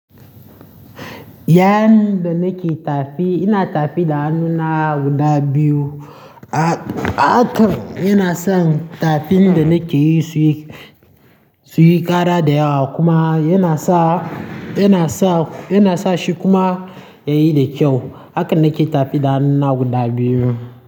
Yan da nake tafi, ina tafi da hannuna guda biyu. A-ahakan inason tafin da nake yi suyi, suyi kara da yawa kuma yana sa, yana sa, yana sa shi kuma yayi da kyau. Haka nake tafi da hannuna guda biyu.